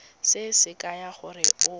se se kaya gore o